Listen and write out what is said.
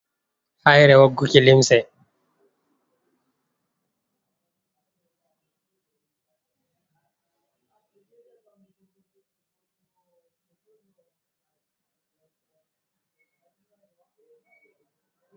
Haire woggu ki limse.